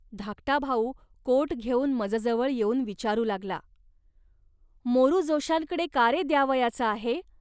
धाकटा भाऊ कोट घेऊन मजजवळ येऊन विचारू लागला. ."मोरू जोशांकडे का रे द्यावयाचा आहे